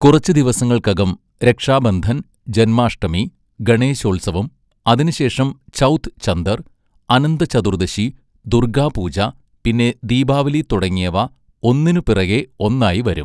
കുറച്ച് ദിവങ്ങൾക്കകം രക്ഷാബന്ധൻ, ജന്മാഷ്ടമി, ഗണേശോത്സവം, അതിനുശേഷം ചൗഥ് ചന്ദർ, അനന്തചതുർദശി, ദുർഗ്ഗാ പൂജ പിന്നെ ദീപാവലി തുടങ്ങിയവ ഒന്നിനുപിറകെ ഒന്നായി വരും.